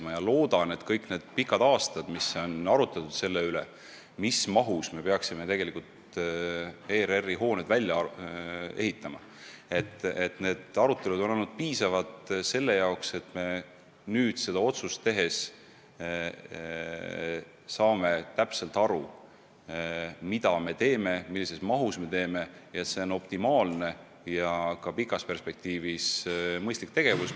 Ma loodan, et kõik need pikad aastad, mil on arutatud selle üle, mis mahus me peaksime tegelikult ERR-i hooned välja ehitama, on olnud piisavad selle jaoks, et me nüüd seda otsust tehes saame täpselt aru, mida me teeme, millises mahus me teeme ja et see on optimaalne ja ka pikas perspektiivis mõistlik tegevus.